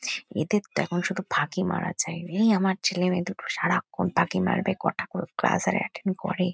এদের তো এখন শুধু ফাঁকি মারা চায়লেই আমার ছেলেমেয়ে দুটো সারাক্ষণ ফাঁকি মারবে কটা করে ক্লাস ই বা এটেন্ড করে।